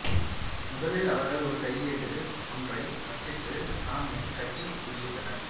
முதலில் அவர்கள் ஒரு கையேடு ஒன்றை அச்சிட்டுத் தாமே கட்டி வெளியிட்டனர்